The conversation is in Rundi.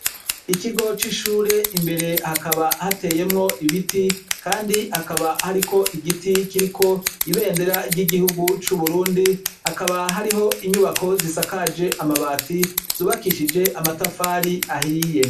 Ikigo c' ishure hakaba hateyemwo ibiti kandi hakaba hariko igiti kiriko ibendera ry' igihugu c' Uburundi, hakaba hariho inyubako zisakaje amabati ,zubakishije amatafari ahiye .